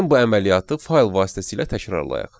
Gəlin bu əməliyyatı fayl vasitəsilə təkrarlayaq.